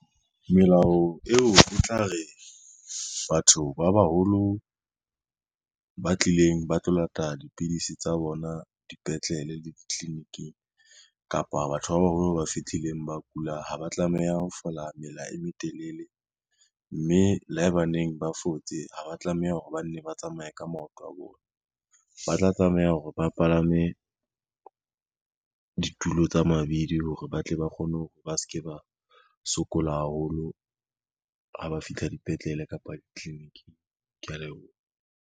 Melao eo e tla re batho ba baholo ba tlileng ba tlo lata dipidisi tsa bona dipetlele le ditliliniking kapa batho ba baholo ba fetileng ba kula ha ba tlameha ho fola mela e metelele, mme le haebaneng ba fotse ha ba tlameha hore ba nne ba tsamaya ka maoto a bona. Ba tla tlameha hore ba palame ditulo tsa mabidi hore ba tle ba kgone hore ba ske ba sokola haholo ha ba fihla dipetlele kapa ditliliniking, kea leboha.